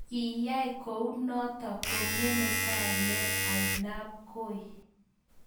Kiai kounoto kongeme kainet ainabkoi